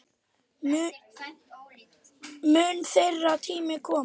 Mun þeirra tími koma?